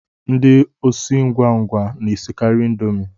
Ndị osi ngwa ngwa na-esikari indomie